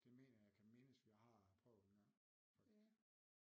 Det mener jeg kan mindes vi har prøvet engang faktisk